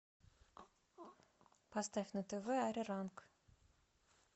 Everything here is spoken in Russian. поставь на тв ариранг